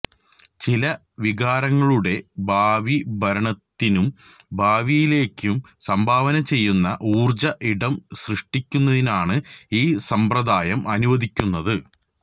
ചില വികാരങ്ങളുടെ ഭാവിഭരണത്തിനും ഭാവിയിലേക്കും സംഭാവന ചെയ്യുന്ന ഊർജ്ജ ഇടം സൃഷ്ടിക്കുന്നതിനാണ് ഈ സമ്പ്രദായം അനുവദിക്കുന്നത്